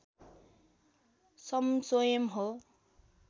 सं स्वयम् हो